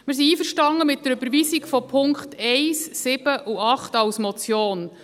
Wir sind einverstanden mit der Überweisung der Punkte 1, 7 und 8 als Motion.